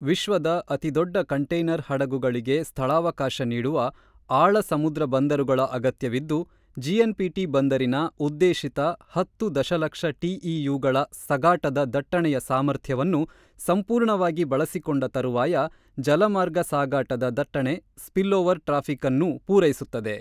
ವಿಶ್ವದ ಅತಿದೊಡ್ಡ ಕಂಟೈನರ್ ಹಡಗುಗಳಿಗೆ ಸ್ಥಳಾವಕಾಶ ನೀಡುವ ಆಳ ಸಮುದ್ರ ಬಂದರುಗಳ ಅಗತ್ಯವಿದ್ದು, ಜೆಎನ್ ಪಿಟಿ ಬಂದರಿನ ಉದ್ದೇಶಿತ ಹತ್ತು ದಶಲಕ್ಷ ಟಿಇಯುಗಳ ಸಗಾಟದ ದಟ್ಟಣೆಯ ಸಾಮರ್ಥ್ಯವನ್ನು ಸಂಪೂರ್ಣವಾಗಿ ಬಳಸಿಕೊಂಡ ತರುವಾಯ ಜಲ ಮಾರ್ಗ ಸಾಗಾಟದ ದಟ್ಟಣೆ ಸ್ಪಿಲ್ ಓವರ್ ಟ್ರಾಫಿಕ್ ಅನ್ನೂ ಪೂರೈಸುತ್ತದೆ.